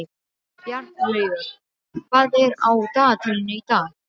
Bjarnlaugur, hvað er á dagatalinu í dag?